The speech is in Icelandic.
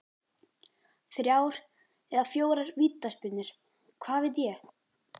Þrjár eða fjórar vítaspyrnur, hvað veit ég?